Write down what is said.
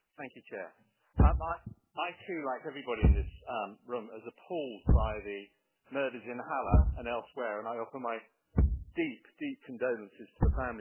Madam President, I too, like everybody in this room, was appalled by the murders in Halle and elsewhere, and I offer my deep, deep condolences to the families engaged.